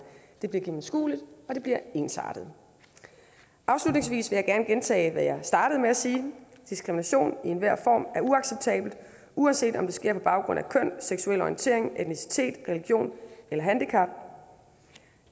det bliver gennemskueligt og det bliver ensartet afslutningsvis vil jeg gerne gentage hvad jeg startede med at sige diskrimination i enhver form er uacceptabelt uanset om det sker på baggrund af køn seksuel orientering etnicitet religion eller handicap